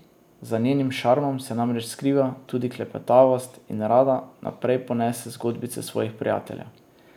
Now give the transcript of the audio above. Za njenim šarmom se namreč skriva tudi klepetavost in rada naprej ponese zgodbice svojih prijateljev.